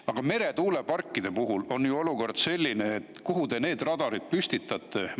Aga meretuuleparkide puhul on ju olukord selline, et kuhu te need radarid püstitate?